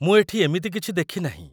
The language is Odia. ମୁଁ ଏଠି ଏମିତି କିଛି ଦେଖିନାହିଁ ।